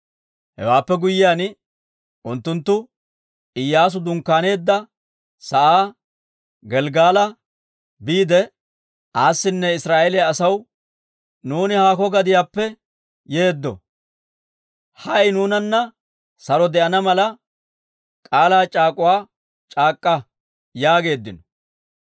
Hewaappe guyyiyaan unttunttu Iyyaasu dunkkaaneedda sa'aa Gelggala biide, awunne Israa'eeliyaa asaw, «Nuuni haakko gadiyaappe yeeddo. Hay nuunanna saro de'ana mala k'aalaa c'aak'uwaa c'aak'k'a» yaageeddino.